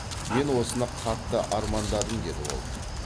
мен осыны қатты армандадым деді ол